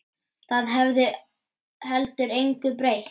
Það hefði heldur engu breytt.